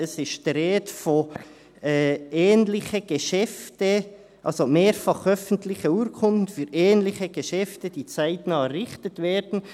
Es ist die Rede von «ähnliche Geschäften», also «mehrfach öffentliche Urkunden für ähnliche Geschäfte[, die] zeitnah errichtet werden».